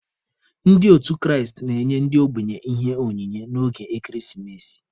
Ndị otu Kraịst na-enye ndị ogbenye Ihe onyinye n'oge ekeresimesi.